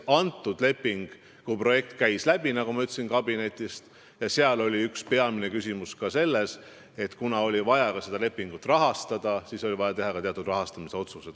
Kui selle lepingu projekt meil kabinetist läbi käis, siis nagu ma ütlesin, oli üks peamine küsimus ka selles, et kuna oli vaja seda lepingut rahastada, siis oli vaja teha ka teatud rahastamisotsused.